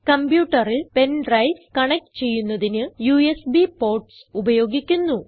കംപ്യൂട്ടറിൽ pen drives connect ചെയ്യുന്നതിന് USB ports ഉപയോഗിക്കുന്നു